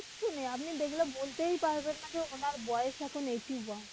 আসলেই আপনি দেখলে বলেতেই পারবেন না উনার বয়স এখন eighty one